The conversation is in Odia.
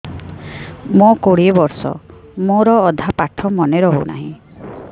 ମୋ କୋଡ଼ିଏ ବର୍ଷ ମୋର ଅଧା ପାଠ ମନେ ରହୁନାହିଁ